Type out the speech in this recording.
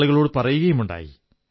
ആളുകളോടു പറയുകയുമുണ്ടായി